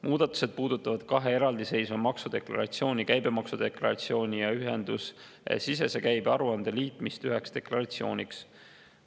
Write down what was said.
Muudatused puudutavad kahe eraldiseisva maksudeklaratsiooni, käibedeklaratsiooni ja ühendusesisese käibe aruande liitmist üheks deklaratsiooniks.